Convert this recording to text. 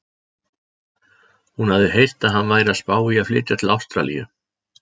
Hún hafði heyrt að hann væri að spá í að flytja til Ástralíu.